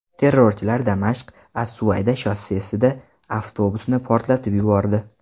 Terrorchilar Damashq–as-Suvayda shossesida avtobusni portlatib yubordi.